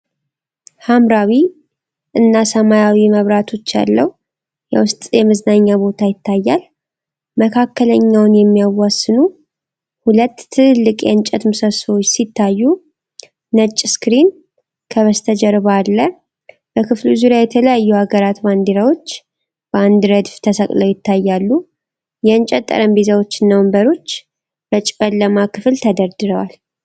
ሐምራዊ እና ሰማያዊ መብራቶች ያለው የውስጥ የመዝናኛ ቦታ ይታያል። መካከለኛውን የሚያዋስኑ ሁለት ትልልቅ የእንጨት ምሰሶዎች ሲታዩ፣ ነጭ ስክሪን ከበስተጀርባ አለ። በክፍሉ ዙሪያ የተለያዩ ሀገራት ባንዲራዎች በአንድ ረድፍ ተሰቅለው ይታያሉ። የእንጨት ጠረጴዛዎችና ወንበሮች በጨለማው ክፍል ተደርድረዋል።